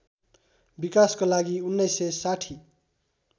विकासको लागि १९६०